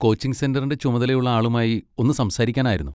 Coaching സെന്ററിൻ്റെ ചുമതലയുള്ള ആളുമായി ഒന്ന് സംസാരിക്കാനായിരുന്നു.